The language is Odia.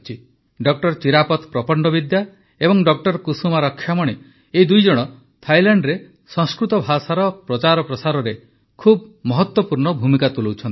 ଡ ଚିରାପତ ପ୍ରପଣ୍ଡବିଦ୍ୟା ଏବଂ ଡ କୁସୁମା ରକ୍ଷାମଣି ଏହି ଦୁଇଜଣ ଥାଇଲାଣ୍ଡରେ ସଂସ୍କୃତ ଭାଷାର ପ୍ରଚାରପ୍ରସାରରେ ବହୁତ ମହତ୍ୱପୂର୍ଣ୍ଣ ଭୂମିକା ତୁଲାଉଛନ୍ତି